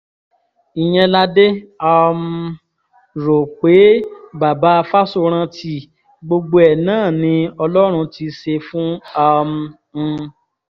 ìyẹn la dé um rò pé baba fáṣórántì gbogbo ẹ̀ náà ni ọlọ́run ti ṣe fún um un